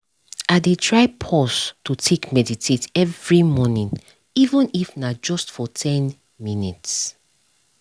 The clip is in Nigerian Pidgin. i dey try pause to take meditate every morning even if na just for ten minutes